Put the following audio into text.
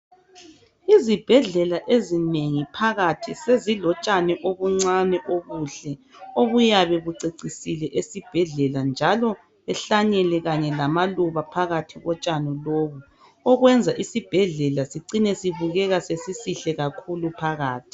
Izibhedlela ezinengi phakathi sezilotshani obuncane obuhle obuyabe bucecisle esibhedlela njalo behlanyele kanye lamaluba phakathi kotshani lobu okwenza isibhedlela sicine sibukeka sesisihle kakhulu phakathi.